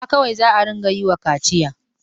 Maza kawai za a ɗinga yi ma kaciya.